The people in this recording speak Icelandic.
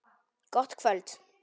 Gott kvöld.